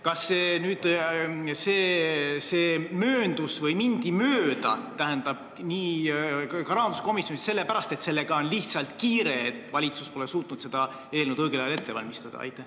Kas rahanduskomisjonist mindi mööda sellepärast, et asjaga on lihtsalt kiire, sest valitsus pole suutnud eelnõu õigel ajal ette valmistada?